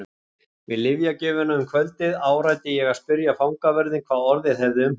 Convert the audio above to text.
Við lyfjagjöfina um kvöldið áræddi ég að spyrja fangavörðinn hvað orðið hefði um hann.